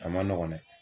A ma nɔgɔn dɛ